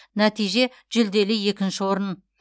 нәтиже жүлделі екінші орын